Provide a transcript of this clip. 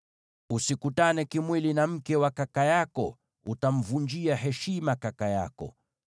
“ ‘Usikutane kimwili na mke wa kaka yako; utamvunjia heshima kaka yako.